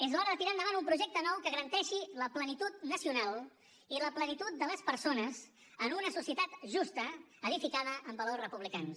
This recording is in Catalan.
és l’hora de tirar endavant un projecte nou que garanteixi la plenitud nacional i la plenitud de les persones en una societat justa edificada amb valors republicans